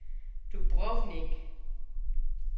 Dubrovnik